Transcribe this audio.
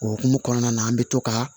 O hukumu kɔnɔna na an bɛ to ka